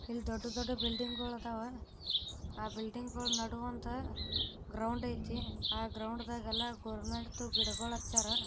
ಇಲ್ಲಿ ದೊಡ್ಡದೊಡ್ಡ ಬಿಲ್ಡಿಂಗ್ ಅವ ಆ ಬಿಲ್ಡಿಂಗ್ ಅಲ್ಲಿ ಆ ಬಿಳಿ ಮೇಲೆ ಎದ್ದು ನೋಡಿಕೊಂಡರೆ ಒಂದು ಗ್ರೌಂಡ್ ಕಾಣುತ್ತೆ ಆ ಗ್ರೌಂಡಲ್ಲಿ ಗಿಡಗಳ ನೆಟ್ಟವ್ರೆ .